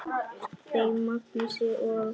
Þeim Magnúsi og